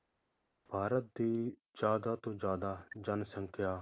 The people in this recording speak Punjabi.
ਭਾਰਤ ਦੀ ਜ਼ਿਆਦਾ ਤੋਂ ਜ਼ਿਆਦਾ ਜਨਸੰਖਿਆ